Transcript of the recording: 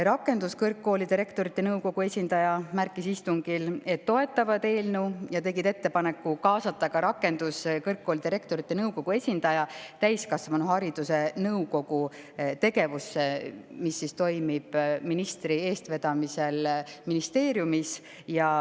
Rakenduskõrgkoolide Rektorite Nõukogu esindaja märkis istungil, et nad toetavad eelnõu, ja tegid ettepaneku kaasata ka Rakenduskõrgkoolide Rektorite Nõukogu esindaja täiskasvanuhariduse nõukogu tegevusse, mis toimib ministri eestvedamisel ministeeriumis.